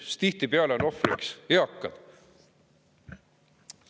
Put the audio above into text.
Sest tihtipeale on ohvriks eakad.